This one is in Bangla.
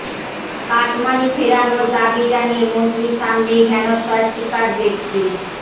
কাটমানি ফেরানোর দাবি জানিয়ে মন্ত্রীর সামনেই হেনস্থার শিকার ব্যক্তি